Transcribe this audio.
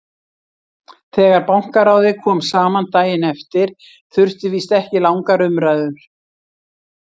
Þegar Bankaráðið kom saman daginn eftir þurfti víst ekki langar umræður.